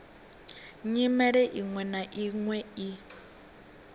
nyimele iṅwe na iṅwe i